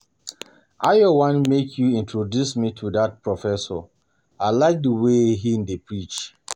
Ayo I want make you introduce me to dat Professor I like the way he dey teach